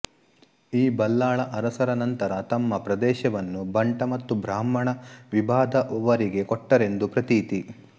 ಈ ಬಲ್ಲಾಳ ಅರಸರ ನಂತರ ತಮ್ಮ ಪ್ರದೇಶವನ್ನು ಬಂಟ ಮತ್ತು ಬ್ರಾಹ್ಮಣ ವಿಭಾದವರಿಗೆ ಕೊಟ್ಟರೆಂದು ಪ್ರತೀತಿ